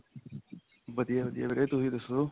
ਵਧੀਆ ਵਧੀਆ ਵੀਰੇ ਤੁਸੀਂ ਦੱਸੋ